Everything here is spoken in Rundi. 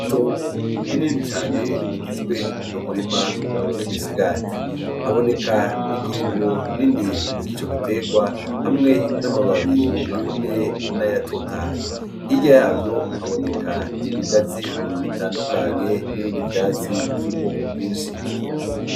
Itongo rinini cane rigizwe n' umurima w' imisigati haboneka ingingo nini zico gitegwa hamwe n' amababi yumye nayatotahaye, hirya yavyo haboneka ibigazi bitandukanye nibindi vyatsi vy' ubwoko bwinshi.